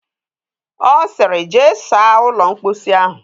Ọ sịrị, jee saa ụlọ mposi ahụ!